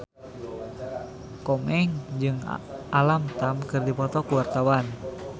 Komeng jeung Alam Tam keur dipoto ku wartawan